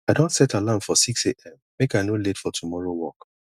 i don set alarm for sixam make i no late for tomorrow work